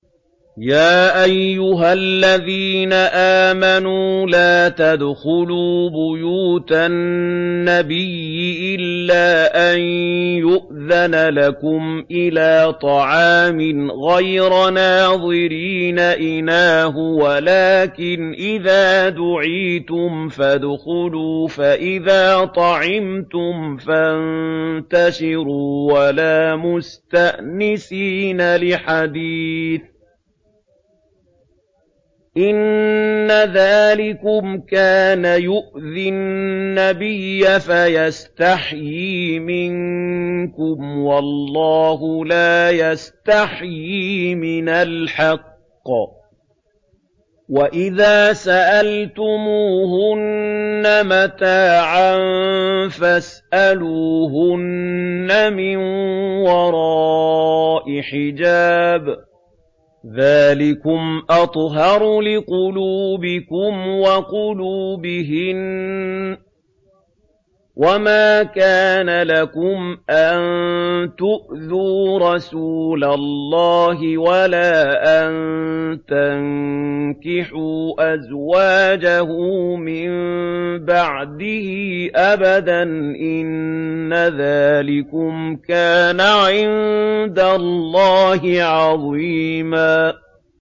يَا أَيُّهَا الَّذِينَ آمَنُوا لَا تَدْخُلُوا بُيُوتَ النَّبِيِّ إِلَّا أَن يُؤْذَنَ لَكُمْ إِلَىٰ طَعَامٍ غَيْرَ نَاظِرِينَ إِنَاهُ وَلَٰكِنْ إِذَا دُعِيتُمْ فَادْخُلُوا فَإِذَا طَعِمْتُمْ فَانتَشِرُوا وَلَا مُسْتَأْنِسِينَ لِحَدِيثٍ ۚ إِنَّ ذَٰلِكُمْ كَانَ يُؤْذِي النَّبِيَّ فَيَسْتَحْيِي مِنكُمْ ۖ وَاللَّهُ لَا يَسْتَحْيِي مِنَ الْحَقِّ ۚ وَإِذَا سَأَلْتُمُوهُنَّ مَتَاعًا فَاسْأَلُوهُنَّ مِن وَرَاءِ حِجَابٍ ۚ ذَٰلِكُمْ أَطْهَرُ لِقُلُوبِكُمْ وَقُلُوبِهِنَّ ۚ وَمَا كَانَ لَكُمْ أَن تُؤْذُوا رَسُولَ اللَّهِ وَلَا أَن تَنكِحُوا أَزْوَاجَهُ مِن بَعْدِهِ أَبَدًا ۚ إِنَّ ذَٰلِكُمْ كَانَ عِندَ اللَّهِ عَظِيمًا